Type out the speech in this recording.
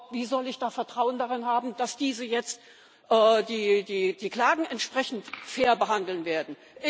Wie soll ich da Vertrauen darauf haben, dass diese jetzt die Klagen entsprechend fair behandeln werden?